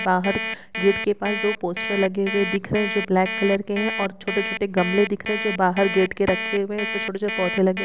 बाहर गेट के पास दो पोस्टर लगे हुए दिख रहे हैं जो ब्लैक कलर के हैं और छोटे-छोटे गमले दिख रहे हैं जो बाहर गेट के रखे हुए हैं उस पर छोटे-छोटे पौधे लगे--